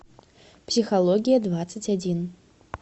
психология двадцать один